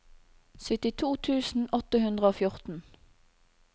syttito tusen åtte hundre og fjorten